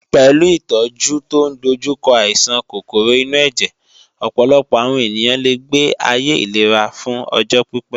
Pẹ̀lú ìtọ́jú tó ń dojú kọ àìsàn kòkòrò inú ẹ̀jẹ̀, ọ̀pọ̀lọpọ̀ àwọn ènìyàn lè gbé ayé ìlera fún ọjọ́ pípé.